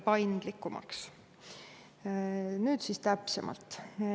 Nüüd täpsemalt.